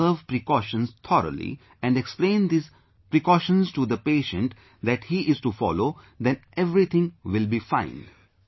If we observe precautions thoroughly, and explain these precautions to the patient that he is to follow, then everything will be fine